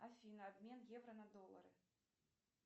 афина обмен евро на доллары